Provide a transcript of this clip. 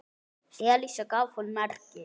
Elísa gaf honum merki.